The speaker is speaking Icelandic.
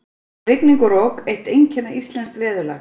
Rigning og rok- eitt einkenna íslensks veðurlags.